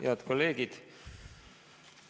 Head kolleegid!